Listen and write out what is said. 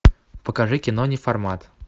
покажи кино неформат